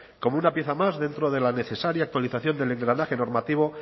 como una pieza más dentro de la necesaria actualización del engranaje normativo